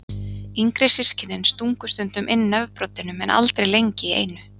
Yngri systkinin stungu stundum inn nefbroddinum en aldrei lengi í einu.